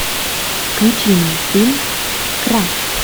включи мне фильм край